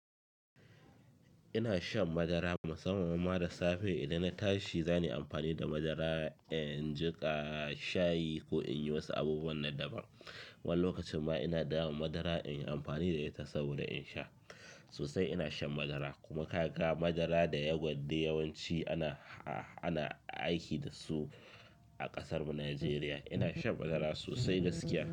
Ina shan madara musamman ma da safe idan na tashi, zani amfani da madara in jiƙa shayi ko in yi wasu abubuwan na daban. Wani lokacin ma ina dama madara in yi amfani da ita saboda in sha. Sosai ina shan madara kuma kaga madara da ya gwat yawanci ana, a-ana aiki da su a ƙasarmu Nijeriya. Ina shan madara sosai gaskiya.